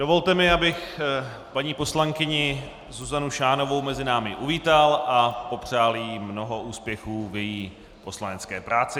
Dovolte mi, abych paní poslankyni Zuzanu Šánovou mezi námi uvítal a popřál jí mnoho úspěchů v její poslanecké práci.